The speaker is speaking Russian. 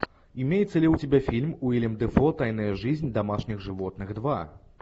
имеется ли у тебя фильм уиллем дефо тайная жизнь домашних животных два